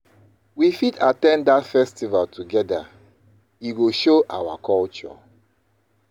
We fit at ten d that festival together; e go show our culture.